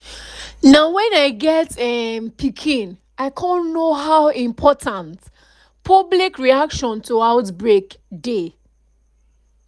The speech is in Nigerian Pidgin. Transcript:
na when i get um pikin i cum know how important public reaction to outbreak dey